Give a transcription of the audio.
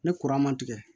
Ni kura ma tigɛ